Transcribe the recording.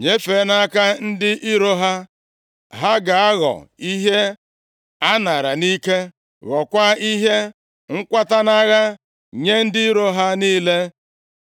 nyefee nʼaka ndị iro ha. Ha ga-aghọ ihe anaara nʼike, ghọọkwa ihe nkwata nʼagha nye ndị iro ha niile,